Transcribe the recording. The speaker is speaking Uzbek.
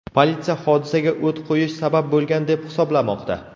Politsiya hodisaga o‘t qo‘yish sabab bo‘lgan deb hisoblamoqda.